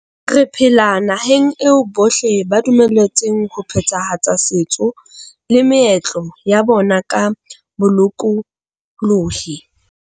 Re phela nahaneg eo bohle ba dumeletsweng ho phethahatsa setso le meetlo ya bona ka bolokolohi.